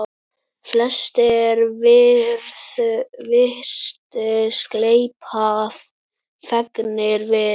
Flestir virtust gleypa fegnir við.